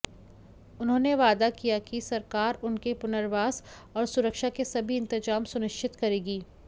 उन्होंने वादा किया कि सरकार उनके पुनर्वास और सुरक्षा के सभी इंतजाम सुनिश्चित करेगी